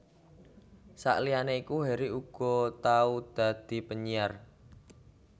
Saliyané iku Harry uga tau dadi penyiar